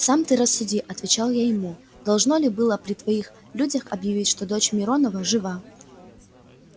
сам ты рассуди отвечал я ему должно ли было при твоих людях объявить что дочь миронова жива